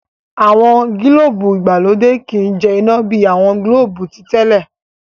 àwọn gilobu ìgbàlódé ki jẹ ina bi awọn gilobu titẹle.